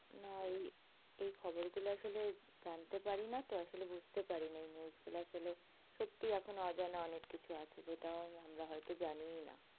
না এই এই খবর গুলো আসলে জানতে পারিনা তো আসলে বুঝতে পারিনা। এই news গুলো আসলে সত্যি এখনো অজানা অনেককিছু আছে যেটা আমরা হয়তো জানিও না।